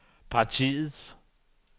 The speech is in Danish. partiets